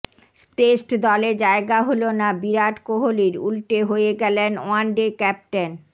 test দলে জায়গা হল না বিরাট কোহলির উল্টে হয়ে গেলেন ওয়ান ডে ক্যাপ্টেন